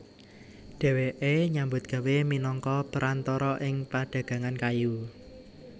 Dhèwèké nyambut gawé minangka perantara ing padagangan kayu